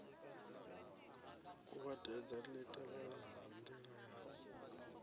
kuvhatedza li tevhelaho ndila yau